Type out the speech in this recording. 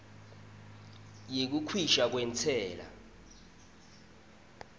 yekukhishwa kwentsela